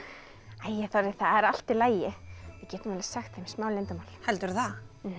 æi Þorri það er allt í lagi við getum alveg sagt þeim smá leyndarmál heldurðu það já